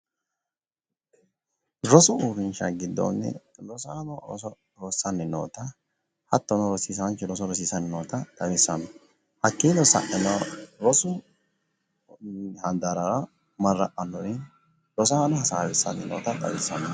Rosu uurrinshsha giddoonni rosaano rossanni nootanna hattono rosiisaanchu rosiissanni noota xawissano, hakkiinni saeno rosu handaarrara marra'annori rosaano hasaawissanota xawissanno.